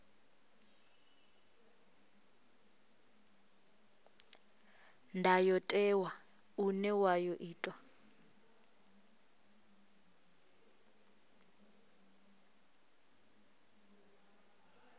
ndayotewa une wa ḓo itwa